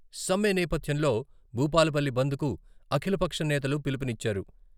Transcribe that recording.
సమ్మె నేపథ్యంలో భూపాలపల్లి బంద్కు అఖిలపక్షం నేతలు పిలుపునిచ్చారు.